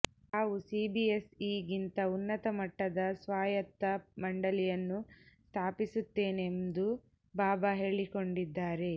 ತಾವು ಸಿಬಿಎಸ್ಇಗಿಂತ ಉನ್ನತ ಮಟ್ಟದ ಸ್ವಾಯತ್ತ ಮಂಡಳಿಯನ್ನು ಸ್ಥಾಪಿಸುತ್ತೇನೆಂದು ಬಾಬಾ ಹೇಳಿಕೊಂಡಿದ್ದಾರೆ